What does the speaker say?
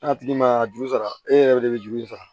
N'a tigi ma juru sara e yɛrɛ de bɛ juru in sara